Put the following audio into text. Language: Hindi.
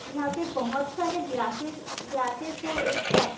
यहाँ पे बहुत सारे ग्लासेस - ग्लासेस है एक साथ।